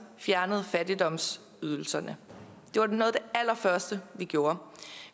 fjernede fattigdomsydelserne det var noget af det allerførste vi gjorde